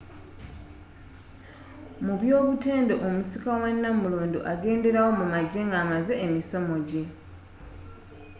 mu by'obutonde omusika wa nnamulondo agenderawo mu magye nga amaze emisomo gye